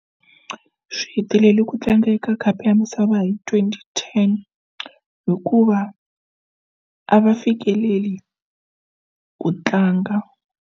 Swi heteleli ku tlanga eka khapu ya misava hi twenty ten hikuva a va fikeleli ku tlanga.